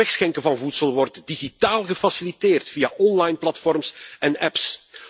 Het wegschenken van voedsel wordt digitaal gefaciliteerd via online platforms en apps.